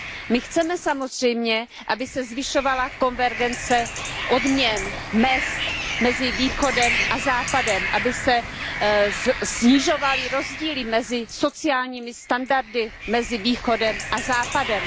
My chceme samozřejmě, aby se zvyšovala konvergence odměn, mezd mezi Východem a Západem, aby se snižovaly rozdíly mezi sociálními standardy mezi Východem a Západem.